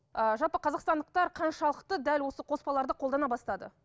ыыы жалпы қазақстандықтар қаншалықты дәл осы қоспаларды қолдана бастады